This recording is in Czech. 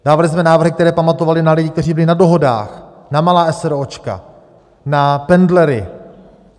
Dávali jsme návrhy, které pamatovaly na lidi, kteří byli na dohodách, na malá eseróčka, na pendlery.